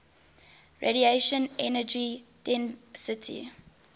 radiation energy density